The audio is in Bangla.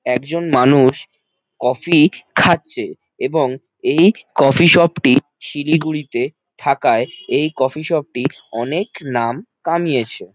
একজন মানুষ কফি খাচ্ছে এবং এই কফি শপ - টি শিলিগুড়িতে থাকায় এই কফি শপ -টি অনেক নাম কামিয়েছে।